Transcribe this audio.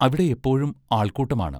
അവിടെ എപ്പോഴും ആൾക്കൂട്ടമാണ്.